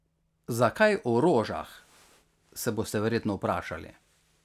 Zakaj o rožah, se boste verjetno vprašali.